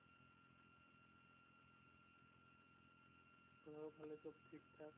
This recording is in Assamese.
ঘৰৰ ফালে সব ঠিক থাক?